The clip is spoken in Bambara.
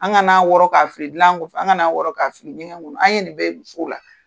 An kana wɔrɔ k'a fili dilan kƆfƐ an kan'a wƆrƆ k'a fili ɲɛkƐ kƆnƆ an ye nin bɛƐ ye musow la